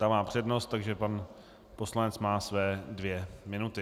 Ta má přednost, takže pan poslanec má své dvě minuty.